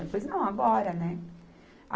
Eu falei, não, agora, né?